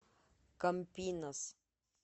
кампинас